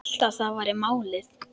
Hélt að það væri málið.